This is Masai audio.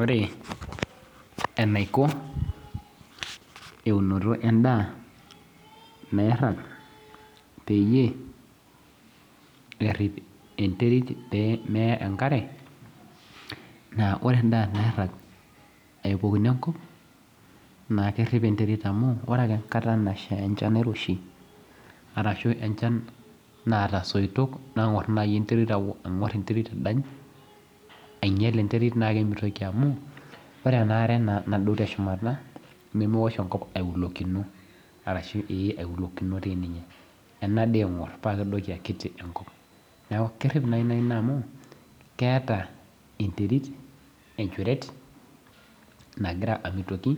Ore enaiko eunoto endaa nairag peyie erip enterit peemeta enkare ore ake enkata nadha enchan nairoshi amu ore enaare nadou teshumata nemeosh enkop ailokino neeku kerip naa ina amu keeta enterit enchuret nagira amitiki